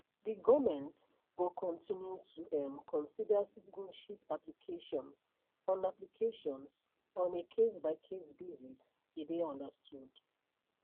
di goment go continue to um consider citizenship applications on applications on a casebycase basis e dey understood